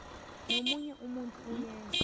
nomunye umuntu owenza